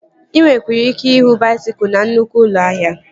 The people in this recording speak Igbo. Ị nwekwara ike ịhụ baisikụl na nnụkwụ ụlọ ahịa